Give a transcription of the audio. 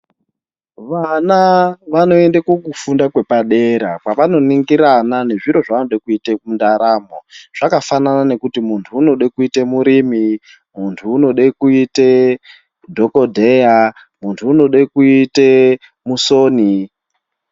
Vana vanoende kukufunda kwepadera kwavanoningirana nezviro zvavanode kuita mundaramo. Zvakafanana nekuti muntu unode kuite murimi, muntu unode kuita dhokodheya, muntu unode kuite musoni.